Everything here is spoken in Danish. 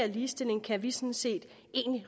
ligestilling kan vi sådan set